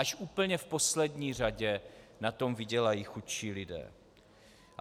Až úplně v poslední řadě na tom vydělají chudší lidé.